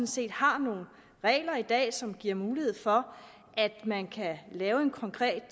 set har nogle regler i dag som giver mulighed for at man kan lave en konkret